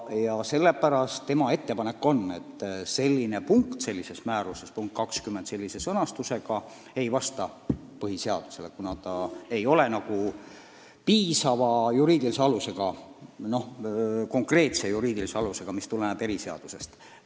Ja sellepärast on tema seisukoht, et niisuguses sõnastuses punkt 20 määruses ei vasta põhiseadusele, kuna sel ei ole piisavalt konkreetset juriidilist alust, mis tuleneks eriseadusest.